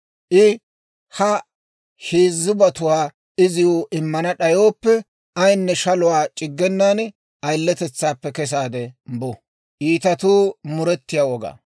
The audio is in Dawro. I ha heezzubatuwaa iziw immana d'ayooppe, ayinne shaluwaa c'iggenan ayiletetsaappe kesaade bu.